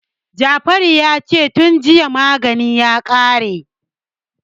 Jafaru ya ce "tun jiya maganin ya kare".